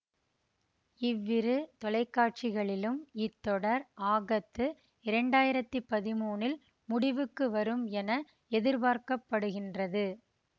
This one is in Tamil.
இவ்விரு தொலைக்காட்சிகளிலும் இத்தொடர் ஆகத்து இரண்டு ஆயிரத்தி பதிமூனில் முடிவுக்கு வரும் என எதிர்பார்க்க படுகின்றது